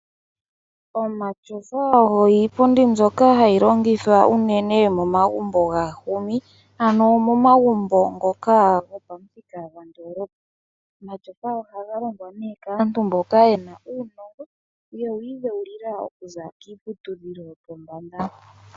Omatyofa oyo iipundi mbyoka hayi longithwa unene momagumbo gaahumi ano momagumbo ngoka gopamuthika gopandoolopa . Omatyofa ohaga longwa nee kaantu mboka yena uunongo yewu idheulila okuza kiiputudhilo yopombanda.